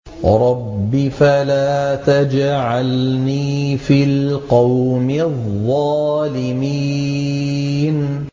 رَبِّ فَلَا تَجْعَلْنِي فِي الْقَوْمِ الظَّالِمِينَ